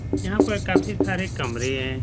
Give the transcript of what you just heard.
यहाँ पर काफी सारे कमरे हैं।